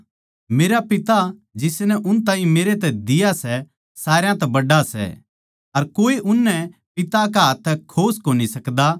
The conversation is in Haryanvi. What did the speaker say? मेरा पिता जिसनै उन ताहीं मेरै तै दिया सै सारया तै बड्ड़ा सै अर कोए उननै पिता कै हाथ्थां तै खोस कोनी सकदा